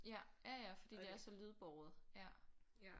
Ja ja ja fordi det er så lydbåret ja